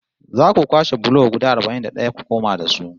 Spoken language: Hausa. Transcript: Za ku kwashe bulo guda arba'in da ɗaya ku koma da su